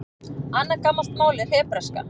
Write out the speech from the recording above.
Annað gamalt mál er hebreska.